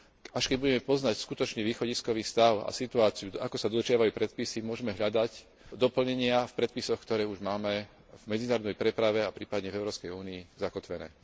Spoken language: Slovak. Až keď budeme poznať skutočný východiskový stav a situáciu, ako sa dodržiavajú predpisy, môžme hľadať doplnenia v predpisoch, ktoré už máme v medzinárodnej preprave a prípadne v Európskej únii zakotvené.